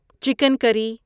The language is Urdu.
chicken curry